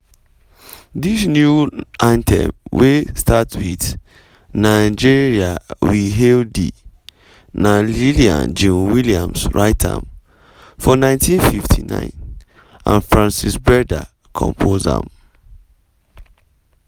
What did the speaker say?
dis new anthem wey start wit "nigeria we hail thee" na lillian jean williams write am for 1959 and frances berda compose am.